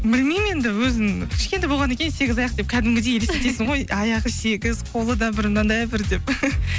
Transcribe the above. білмеймін енді өзің кішкентай болғаннан кейін сегіз аяқ деп кәдімгідей елестетесің ғой аяғы сегіз қолы да бір мынадай бір деп